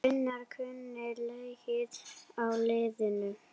Gunnar kunni lagið á liðinu.